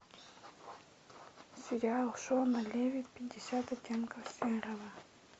сериал шона леви пятьдесят оттенков серого